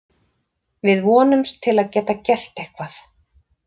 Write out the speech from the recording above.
Við vonumst til að geta gert eitthvað.